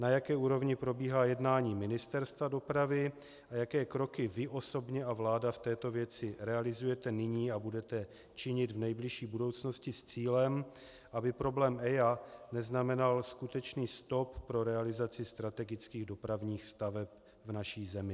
Na jaké úrovni probíhá jednání Ministerstva dopravy a jaké kroky vy osobně a vláda v této věci realizujete nyní a budete činit v nejbližší budoucnosti s cílem aby problém EIA neznamenal skutečně stop pro realizaci strategických dopravních staveb v naší zemi?